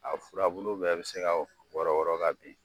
A furabulu bɛɛ be se ka wɔrɔn wɔrɔn ka bin.